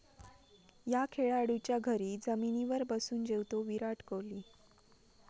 या' खेळाडूच्या घरी जमिनीवर बसून जेवतो विराट कोहली